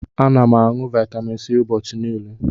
Ana m aṅụ Vaitamin C ụbọchị niile.